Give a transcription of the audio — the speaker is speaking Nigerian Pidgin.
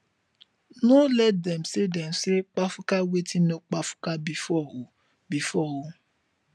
no let dem say dem say kpafuka wetin no kpafuka bifor o bifor o